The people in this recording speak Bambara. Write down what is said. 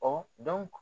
Ɔ